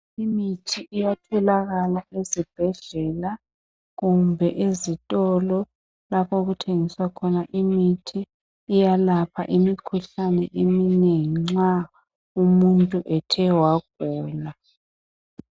Imithi iyatholakala ezibhedlela kumbe ezitolo lapho okuthengiswa khona imithi, iyalapha imikhuhlane eminengi nxa umuntu ethe wagula.